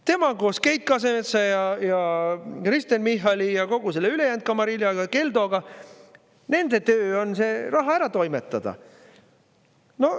Tema koos Keit Kasemetsa ja Kristen Michali ja kogu selle ülejäänud kamariljaga, Keldoga – nende töö on see raha ära toimetada.